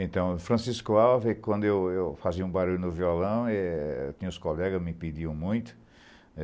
Então, Francisco Alves, quando eu eu fazia um barulho no violão, é, eu tinha uns colegas que me pediam muito.